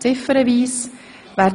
Wir stimmen ziffernweise ab.